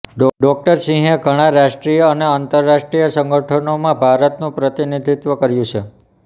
ડો સિંહ એ ઘણાં રાષ્ટ્રીય અને અંતર્રાષ્ટ્રીય સંગઠનોં માં ભારતનું પ્રતિનિધિત્વ કર્યુઁ છે